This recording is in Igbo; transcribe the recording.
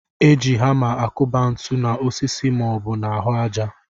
E ji hamá akụba ntụ na osisi ma ọ bụ n'ahụ àjà